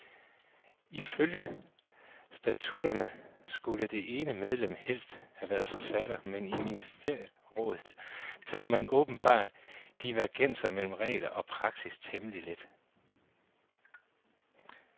Ifølge statutterne skulle det ene medlem helst have været forfatter, men i ministerrådet tager man åbenbart divergenser mellem regler og praksis temmelig let.